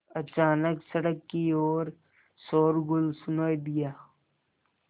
अचानक सड़क की ओर शोरगुल सुनाई दिया